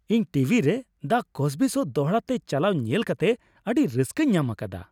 ᱤᱧ ᱴᱤᱵᱷᱤ ᱨᱮ "the Cosby show" ᱫᱚᱲᱦᱟᱛᱮ ᱪᱟᱞᱟᱣ ᱧᱮᱞ ᱠᱟᱛᱮ ᱟᱹᱰᱤ ᱨᱟᱹᱥᱠᱟᱹᱧ ᱧᱟᱢ ᱟᱠᱟᱫᱟ ᱾